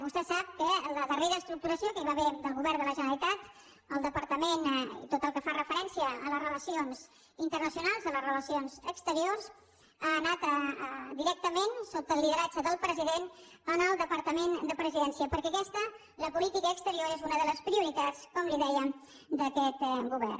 vostè sap que la darrera estructuració que hi va haver del govern de la generalitat al departament i tot el que fa referència a les relacions internacionals a les relacions exteriors ha anat directament sota el lideratge del president en el departament de presidència perquè aquesta la política exterior és una de les prioritats com li dèiem d’aquest govern